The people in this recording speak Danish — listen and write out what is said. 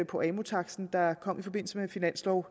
på amu taksten der kom i forbindelse med finansloven